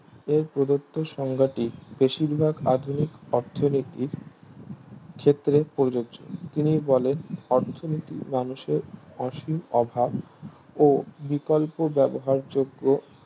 এর প্রধত্ব সংঘাটি বেশিরভাগ আধুনিক অর্থনীতি ক্ষেত্রে প্রযোজ্য তিনি বলেন অর্থনীতি মানুষের অসীম অভাব ও বিকল্প ব্যবহার যোগ্য